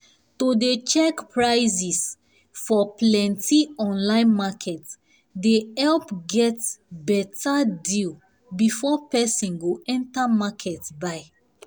to dey check prices for plenty online market dey help get beta deal before person go enter market buy